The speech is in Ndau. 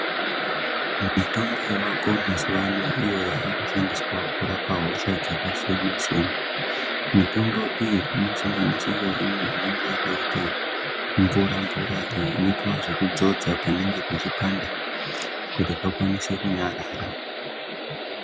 Mitombo yavako mazuwano iyo yavakushandiswawo kurapa hosha dzakasiyana siyana mitombo iyi inosanganidzira imwe inenge yakaite mvura mvura iyo inoita zvekudzodzwa panenge pechipanda kuti pakwanise kunyarara.